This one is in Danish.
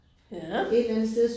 Ja